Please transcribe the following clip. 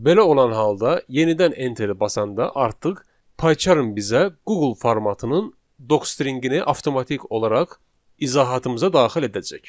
Belə olan halda yenidən enteri basanda artıq PyCharm bizə Google formatının docstringini avtomatik olaraq izahatımıza daxil edəcək.